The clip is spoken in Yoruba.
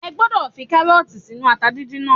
O gbọ́dọ̀ fi kárọ̀tì sínú ata díndín náà